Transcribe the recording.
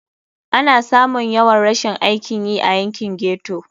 Ana samun yawan rashin aikin yi a yankin ghetto.